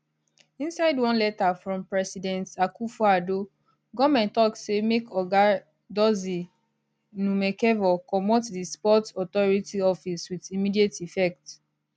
inside one letter from president akufoaddo goment tok say make oga dodzie numekevor comot di sports authority office wit immediate effect